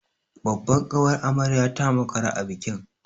Babbar ƙawar amaryar ta makara a bikin.